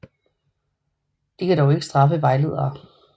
De kan dog ikke straffe vejledere